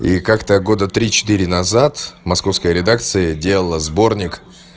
и как-то года три четыре назад московская редакция делала сборник